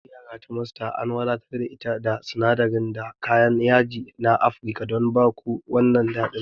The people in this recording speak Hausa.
Taliyar yara ta Master an wadatar da ita da sinadirai da kayan yaji na Afirka don ba ku wannan daɗin.